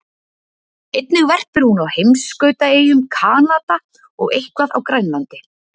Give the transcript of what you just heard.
Einnig verpir hún á heimskautaeyjum Kanada og eitthvað á Grænlandi.